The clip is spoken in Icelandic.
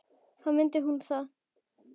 Þá mundi hún það.